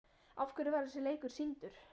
Af hverju var þessi leikur sýndur?